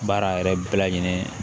Baara yɛrɛ bɛɛ lajɛlen